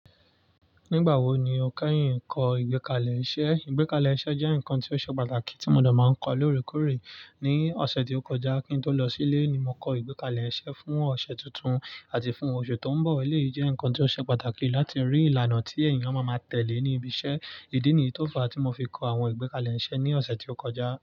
Nígbà wo ni o kẹ́yìn ń kọ́ ìgbékalẹ̀ iṣẹ́? Ìgbékalẹ̀ iṣẹ́ jẹ́ nǹkan tó ṣe pàtàkì tí mo de máa ń kọ lóòrèkóòrè. Ní ọ̀sẹ̀ tí ó kọjá kí n tó lọ sílé ni mo kọ ìgbékalẹ̀ iṣẹ́ fún ọ̀sẹ̀ tuntun àti fún oṣù tó ń bọ̀. Èyí jẹ́ nǹkan tó ṣe pàtàkì láti rí ìlànà tí èèyàn ma máa tẹ̀lé ní ibi iṣẹ́. Idí nìyí tó fa tí mo fi kọ àwọn ìgbékalẹ̀ iṣẹ́ ní ọ̀sẹ̀ tí ó kọjá.